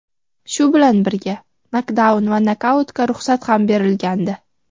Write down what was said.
Shu bilan birga nokdaun va nokautga ruxsat ham berilgandi.